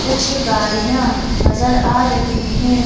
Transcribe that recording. कुछ गाड़ियां नजर आ रही हैं।